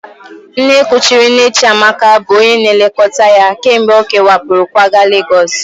Nne kuchiri nne Chiamaka bụ onye na-elekọta ya kemgbe ọ kewapụrụ kwaga Legọs